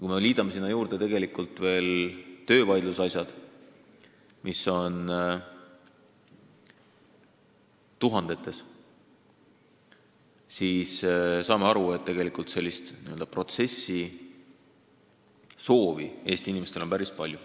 Kui me liidame sinna juurde veel töövaidlused, mida on tuhandeid, siis on selge, et protsessimise soovi on Eesti inimestel päris palju.